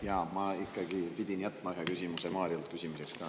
Jaa, ma pidin ikkagi jätma ühe küsimuse Mariole esitamiseks.